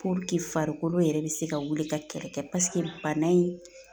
farikolo yɛrɛ bɛ se ka wuli ka kɛlɛ kɛ bana in